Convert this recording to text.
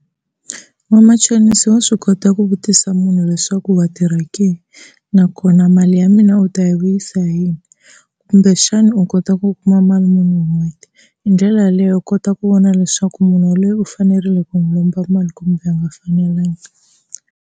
Vamachonisi wa swi kota ku vutisa munhu leswaku wa tirha ke nakona mali ya mina u ta yi vuyisa hi yini kumbexana u kota ku kuma mali muni hi n'hweti, hi ndlela yaleyo u kota ku vona leswaku munhu yaloye u fanerile ku n'wi lomba mali kumbe a nga fanelangi.